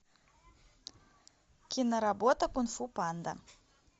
киноработа кунг фу панда